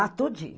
Ah, tudinho.